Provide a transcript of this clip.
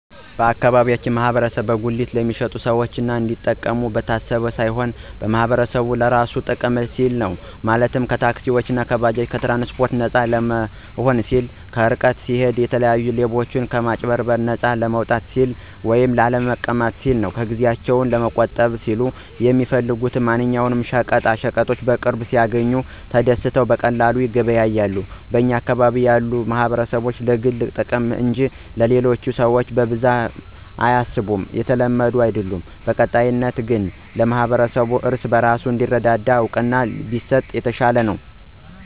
የአካባቢያችን ማህበረሰብ በጉሊት ለሚሸጡት ሰዎች እንዲጠቀሙ ታስቦ ሳይሆን ማህበረሰቡ ለራሱ ጥቅም ሲል ነው፤ ማለትም ከታክሲእና ከባጃጅ ትራንስፓርት ነፃ ለመሆን ሲሉ፣ ከርቀት ሲሂዱ የተለያዩ ሌቦችና ከአጭበርባሪዎች ነፃ ለመውጣት ሲሉ፣ ላለመንላታት ሲሉ፣ ጊዜአቸውን ለመቆጠብ ሲሉ፣ የሚፈልጉትን ማንኛውም ሸቀጣሸቀጥ በቅርብ ሲያግኙ ተደስተው በቀላሉ ይገበያያሉ። በኛ አካባቢ ያሉ ማህበረሰቦች ለግል ጥቅም እንጅ ለሌሎቹ ሰዎች ብዙም አያስቡም የተለመደም አይድለም። በቀጣይነት ግን ለማህበረሰቡ እርስ በርሱ እንዲረዳዳ እውቅና ቢሰጥ የተሻለ ነው።